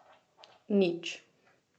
Nič.